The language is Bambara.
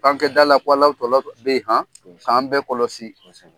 F'an kɛ dala k'Alawu tɔla bɛyi ,kosɛbɛ, k'an bɛɛ kɔlɔsi. Kosɛbɛ.